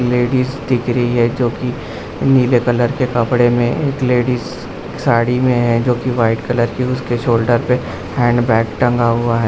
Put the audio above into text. Ladies दिख रही है जो की नीले कलर के कपड़े में एक लेडीज साड़ी में है जो की वाइट कलर की उसके शोल्डर पे हैंड बैग टंगा हुआ है।